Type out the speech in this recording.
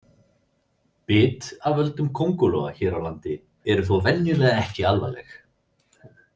Bit af völdum köngulóa hér á landi eru þó venjulega ekki alvarleg.